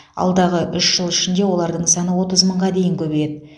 алдағы үш жыл ішінде олардың саны отыз мыңға дейін көбейеді